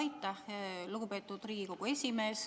Aitäh, lugupeetud Riigikogu esimees!